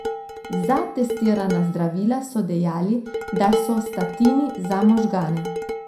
Za testirana zdravila so dejali, da so statini za možgane.